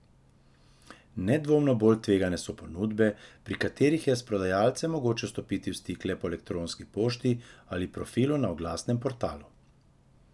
Nedvomno bolj tvegane so ponudbe, pri katerih je s prodajalcem mogoče stopiti v stik le po elektronski pošti ali profilu na oglasnem portalu.